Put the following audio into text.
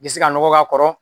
I bɛ se ka nɔgɔ k'a kɔrɔ